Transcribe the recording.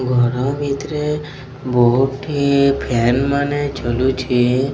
ଘର ଭିତରେ ବହୁତ ଫାନ୍ ମାନେ ଝୁଲୁଛି।